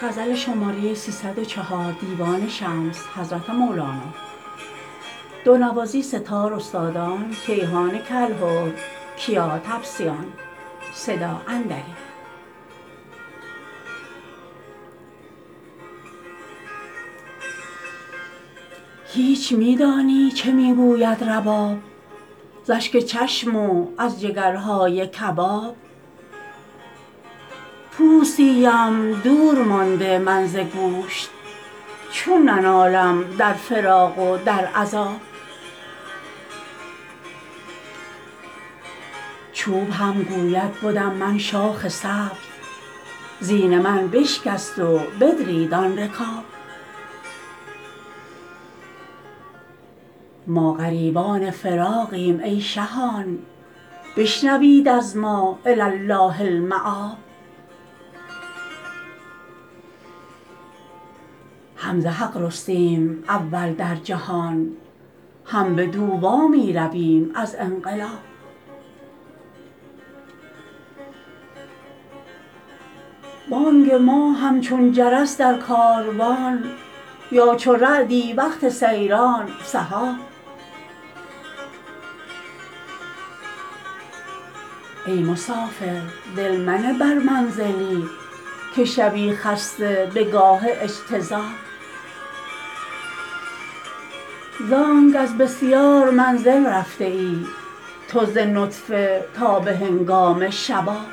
هیچ می دانی چه می گوید رباب ز اشک چشم و از جگرهای کباب پوستی ام دور مانده من ز گوشت چون ننالم در فراق و در عذاب چوب هم گوید بدم من شاخ سبز زین من بشکست و بدرید آن رکاب ما غریبان فراقیم ای شهان بشنوید از ما الی الله المآب هم ز حق رستیم اول در جهان هم بدو وا می رویم از انقلاب بانگ ما همچون جرس در کاروان یا چو رعدی وقت سیران سحاب ای مسافر دل منه بر منزلی که شوی خسته به گاه اجتذاب زانک از بسیار منزل رفته ای تو ز نطفه تا به هنگام شباب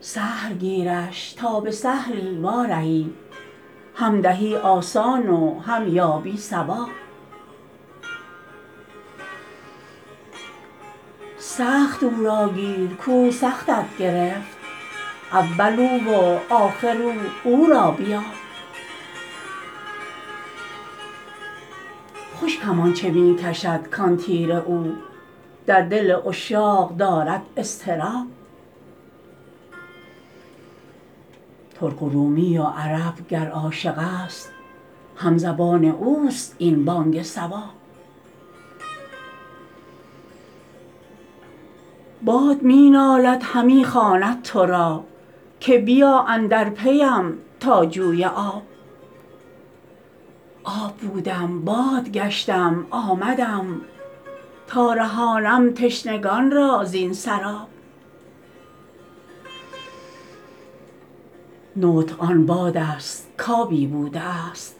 سهل گیرش تا به سهلی وارهی هم دهی آسان و هم یابی ثواب سخت او را گیر کو سختت گرفت اول او و آخر او او را بیاب خوش کمانچه می کشد کان تیر او در دل عشاق دارد اضطراب ترک و رومی و عرب گر عاشق است همزبان اوست این بانگ صواب باد می نالد همی خواند تو را که بیا اندر پیم تا جوی آب آب بودم باد گشتم آمدم تا رهانم تشنگان را زین سراب نطق آن بادست کآبی بوده است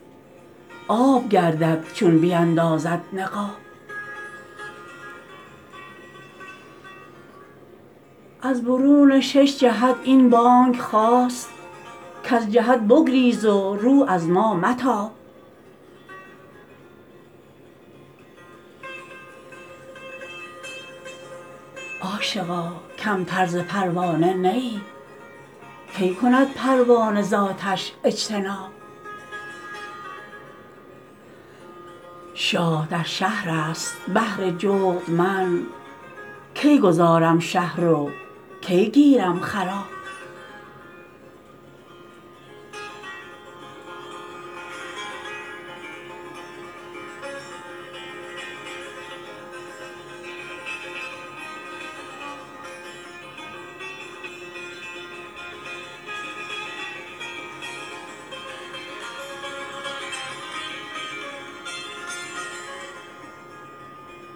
آب گردد چون بیندازد نقاب از برون شش جهت این بانگ خاست کز جهت بگریز و رو از ما متاب عاشقا کمتر ز پروانه نه ای کی کند پروانه ز آتش اجتناب شاه در شهرست بهر جغد من کی گذارم شهر و کی گیرم خراب گر خری دیوانه شد نک کیر گاو بر سرش چندان بزن کاید لباب گر دلش جویم خسیش افزون شود کافران را گفت حق ضرب الرقاب